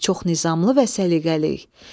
Biz çox nizamlı və səliqəliyik.